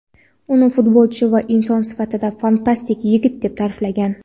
uni futbolchi va inson sifatida fantastik yigit deb ta’riflagan.